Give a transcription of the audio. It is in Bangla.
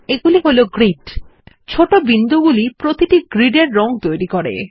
এগুলি হল গ্রিড ছোট বিন্দুগুলি প্রতিটি গ্রিড এর রং তৈরী করে